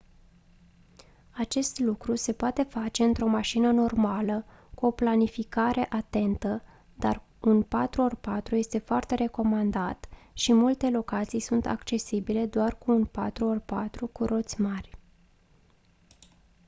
acest lucru se poate face într-o mașină normală cu o planificare atentă dar un 4x4 este foarte recomandat și multe locații sunt accesibile doar cu un 4x4 cu roți mari